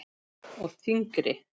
Og þyngri.